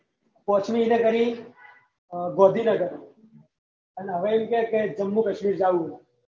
પાંચવી internship એને કરી ગોન્ધીનગર અને વિચાર કે જમ્મુ કાશ્મીર જાવું એમ